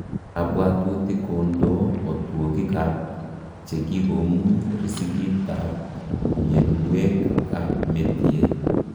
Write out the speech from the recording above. Kabwatutik kondoo otwogik ak chekikomuny riskit ab mionwek ab metie